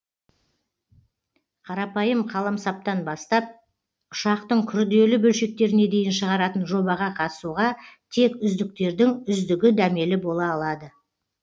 қарапайым қаламсаптан бастап ұшақтың күрделі бөлшектеріне дейін шығаратын жобаға қатысуға тек үздіктердің үздігі дәмелі бола алады